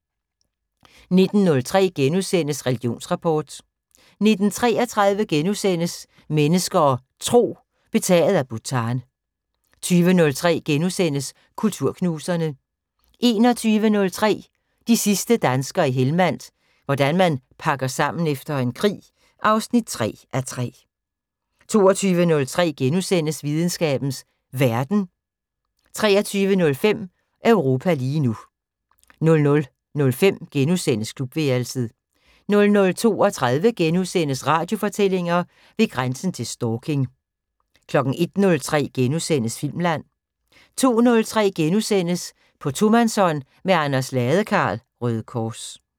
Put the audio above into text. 19:03: Religionsrapport * 19:33: Mennesker og Tro: Betaget af Bhutan * 20:03: Kulturknuserne * 21:03: De sidste danskere i Helmand – hvordan man pakker sammen efter en krig 3:3 22:03: Videnskabens Verden * 23:05: Europa lige nu 00:05: Klubværelset * 00:32: Radiofortællinger: Ved grænsen til stalking * 01:03: Filmland * 02:03: På tomandshånd med Anders Ladekarl, Røde Kors *